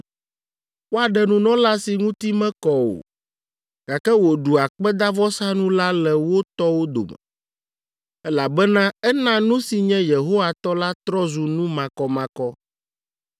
Woaɖe nunɔla si ŋuti mekɔ o, gake wòɖu akpedavɔsanu la le wo tɔwo dome, elabena ena nu si nye Yehowa tɔ la trɔ zu nu makɔmakɔ.